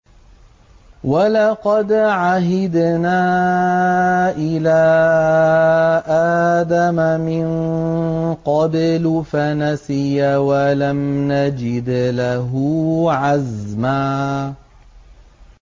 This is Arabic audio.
وَلَقَدْ عَهِدْنَا إِلَىٰ آدَمَ مِن قَبْلُ فَنَسِيَ وَلَمْ نَجِدْ لَهُ عَزْمًا